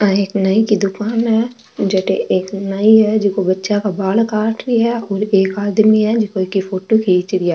आ एक नाई की दुकान है जेट एक नाई है जिंको बच्चा का बाल काट रो है और एक आदमी है झको फोटो खींच रिया है।